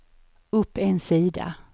upp en sida